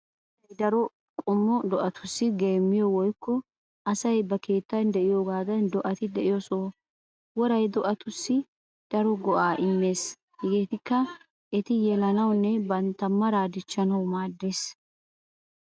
Woray daro qommo do'atussi geemmiyo woykko asay ba keettan de'iyoogaadan do'ati de'iyo soho. Woray do'atussi daro go'aa immees hegeetikka:- eti yelanawunne bantta maraa dichchanawu maaddees.